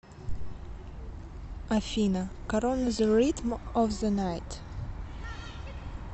афина корона зе ритм оф зе найт